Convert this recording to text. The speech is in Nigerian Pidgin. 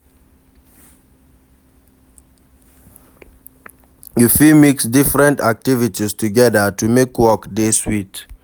You fit mix different activities together to make work dey sweet